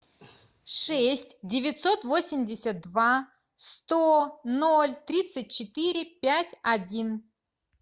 шесть девятьсот восемьдесят два сто ноль тридцать четыре пять один